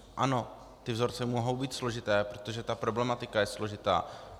Ano, ty vzorce mohou být složité, protože ta problematika je složitá.